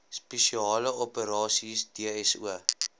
spesiale operasies dso